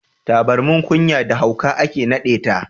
Taburman ƙunya da hauka ake naɗeta.